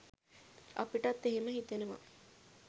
අපිටත් එහෙම හිතෙනවා